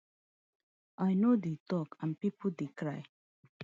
i no dey tok and pipo dey cry